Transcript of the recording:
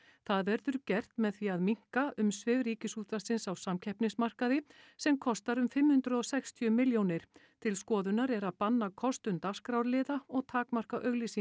með því að minnka umsvif Ríkisútvarpsins á samkeppnismarkaði sem kostar um fimm hundruð og sextíu milljónir til skoðunar er að banna kostun dagskrárliða og takmarka auglýsingar